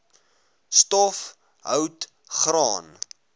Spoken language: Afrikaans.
stof hout graan